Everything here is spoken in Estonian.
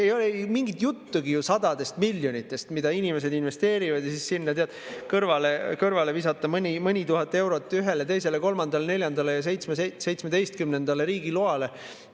Ei ole mingit juttugi ju sadadest miljonitest, mida inimesed investeerivad ja siis sinna kõrvale visata mõni tuhat eurot ühele, teisele, kolmandale, neljandale ja 17-ndale riigiloale.